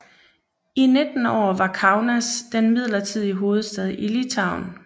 I 19 år var Kaunas den midlertidige hovedstad i Litauen